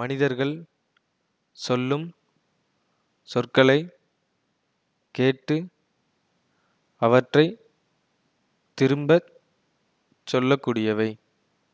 மனிதர்கள் சொல்லும் சொற்களை கேட்டு அவற்றை திரும்ப சொல்லக்கூடியவை